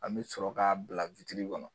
An mɛ sɔrɔ k'a bila kɔnɔ.